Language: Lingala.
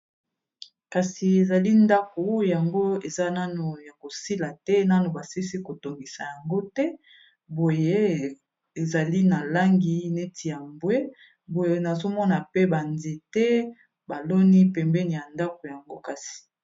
kasi ezali ndako yango eza nano ya kosila te nano basisi kotongisa yango te boye ezali na langi neti ya mbwe boye nazomona pe banzete baloni pembeni ya ndako yango kasi